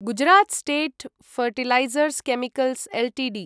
Gujarat state fertilizers chemicals Ltd